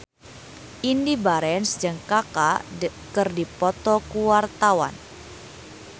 Indy Barens jeung Kaka keur dipoto ku wartawan